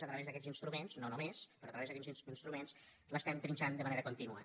a través d’aquests instruments no només però a través d’aquests instruments l’estem trinxant de manera contínua